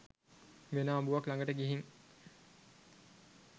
වෙන අඹුවක් ලඟට ගිහින්